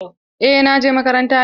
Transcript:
Eh na je makaranta yau.